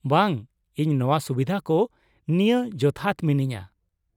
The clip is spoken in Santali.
ᱵᱟᱝ ᱾ ᱤᱧ ᱱᱚᱶᱟ ᱥᱩᱵᱤᱫᱷᱟ ᱠᱚ ᱱᱤᱭᱟᱹ ᱡᱚᱛᱷᱟᱛ ᱢᱤᱱᱟᱹᱧᱟᱹ ᱾